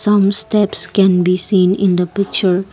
some steps can be seen in the picture.